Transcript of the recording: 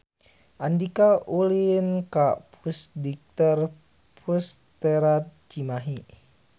Andika ulin ka Pusdikter Pusterad Cimahi